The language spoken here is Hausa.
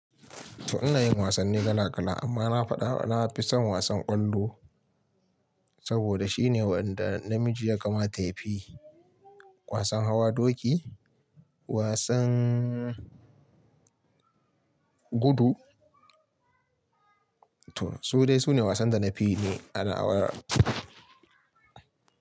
To ina yin wasanni kala kala amma na faɗa na fi son wasan ƙwallo saboda shine waɗanda na miji ya kamata yafi. Wasan hawa doki, wasan gudu to su dai sune wasan da na fi yi a nawa.